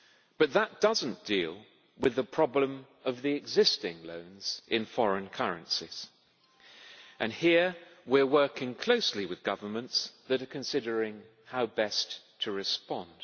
But that does not deal with the problem of the existing loans in foreign currencies, and here we are working closely with governments that are considering how best to respond.